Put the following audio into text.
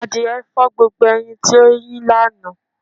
Àdìẹ́ fọ̀ gbogbo ẹyin tí o yín lána.